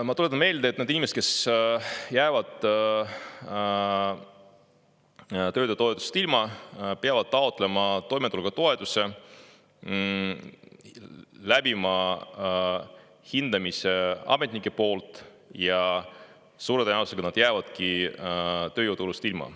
Ma tuletan meelde, et need inimesed, kes jäävad töötutoetusest ilma, peavad taotlema toimetulekutoetust, läbima hindamise ametnike poolt ja suure tõenäosusega nad jäävadki … ilma.